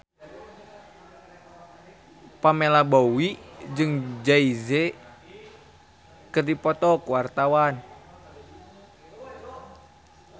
Pamela Bowie jeung Jay Z keur dipoto ku wartawan